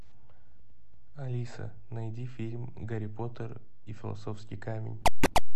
алиса найди фильм гарри поттер и философский камень